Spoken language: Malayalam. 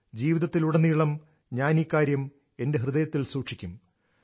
ജീവിതത്തിലുടനീളം ഞാൻ ഈ കാര്യം എന്റെ ഹൃദയത്തിൽ സൂക്ഷിക്കും